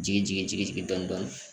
Jigi jigin jigin